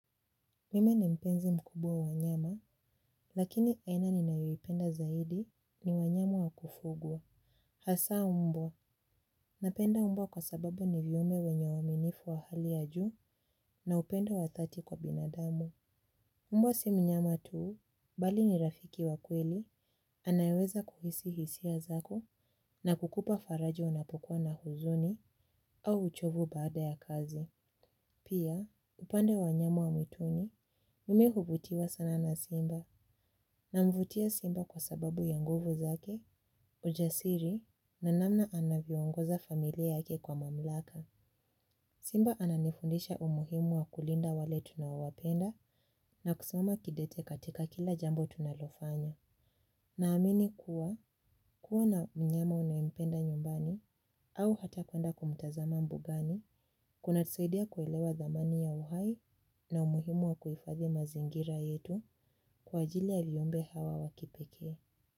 Mimi ni mpenzi mkubwa wa wanyama, lakini aina ni nayoipenda zaidi ni wanyama wakufugwa. Hasaa mbwa, napenda mbwa kwa sababu ni viumbe wenye uaminifu wa hali ya juu na upendo wadhati kwa binadamu. Mbwa si mnyama tuu, bali ni rafiki wakweli, anayeweza kuhisi hisia zako na kukupa faraja unapokua na huzuni au uchovu baada ya kazi. Pia, upande wa wanyama wa mwituni, mimi huvutiwa sana na simba namvutia simba kwa sababu ya nguvu zake, ujasiri na namna anavyoongoza familia yake kwa mamlaka. Simba ananifundisha umuhimu wa kulinda wale tunaowapenda na kusimama kidete katika kila jambo tunalofanya. Na amini kuwa, kuwa na mnyama unayempenda nyumbani, au hata kuenda kumtazama mbugani, kuna tusaidia kuelewa dhamani ya uhai na umuhimu wa kuhifadhi mazingira yetu kwa ajili ya viumbe hawa wakipekee.